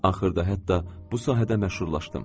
Axırda hətta bu sahədə məşhurlaşdım.